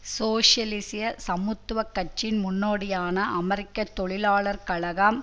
சோசியலிச சமத்துவ கட்சியின் முன்னோடியான அமெரிக்க தொழிலாளர் கழகம்